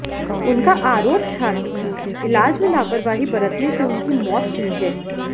उनका आरोप था कि इलाज में लापरवाही बरतने से उनकी मौत हुई है